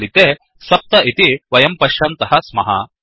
फलिते 7 इति वयं पश्यन्तः स्मः